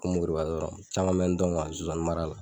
Ko Moriba dɔrɔn caman bɛ n dɔn zonzannin mara la.